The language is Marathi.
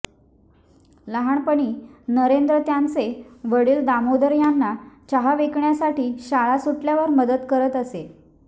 लहानपणी नरेंद्र त्यांचे वडिल दामोदर यांना चहा विकण्यासाठी शाळा सुटल्यावर मदत करत असे